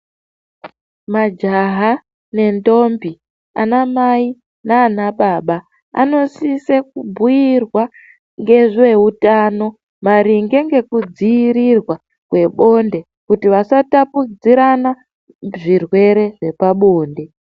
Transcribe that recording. Majaha nendombi ,anamai nana baba vanosise kubhuirwa ngezve utano maringe ngekudzirirwa kwebonde kuti vasatapudzirana zvirwere zvepabonde.